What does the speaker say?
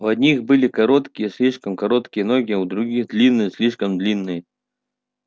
у одних были короткие слишком короткие ноги у других длинные слишком длинные